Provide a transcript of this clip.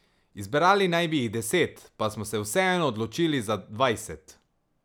Izbrali naj bi jih deset, pa smo se vseeno odločili za dvajset.